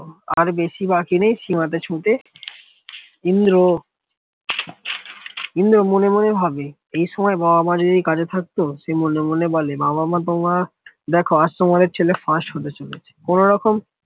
আর বেশি বাকি নেই সীমাতে ছুটে ইন্দ্র ইন্দ্র মনে মনে ভাবে এই সময় বাবা যদি কাছে থাকতো সে মনে মনে বলে বাবা-মা তোমার দেখো আজ তোমার ছেলে first হতে চলেছে কোন্যরকম